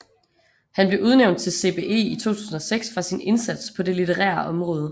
Han blev udnævnt til CBE i 2006 for sin indsats på det litterære område